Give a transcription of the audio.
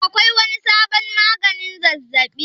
Akwai wani sabon magani zazzabi?